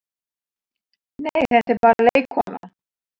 Nei, þetta er bara leikkona.